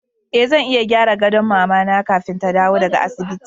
E, zan iya gyara gadon mama na kafin ta dawo daga asibiti.